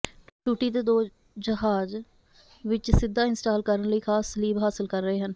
ਟੂਟੀ ਦੇ ਦੋ ਜਹਾਜ਼ ਵਿੱਚ ਸਿੱਧਾ ਇੰਸਟਾਲ ਕਰਨ ਲਈ ਖਾਸ ਸਲੀਬ ਹਾਸਲ ਕਰ ਰਹੇ ਹਨ